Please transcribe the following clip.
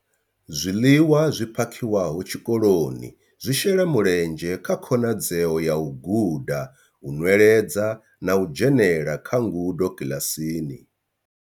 Zwiḽiwa zwi phakhiwaho tshikoloni zwi shela mulenzhe kha khonadzeo ya u guda, u nweledza na u dzhenela kha ngudo kiḽasini.